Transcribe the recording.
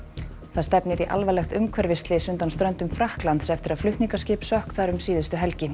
það stefnir í alvarlegt umhverfisslys undan ströndum Frakklands eftir að flutningaskip sökk þar um síðustu helgi